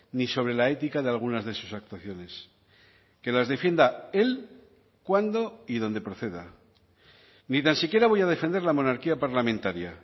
ni sobre la ética de algunas de sus actuaciones que las defienda él cuándo y dónde proceda ni tan siquiera voy a defender la monarquía parlamentaria